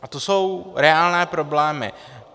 A to jsou reálné problémy.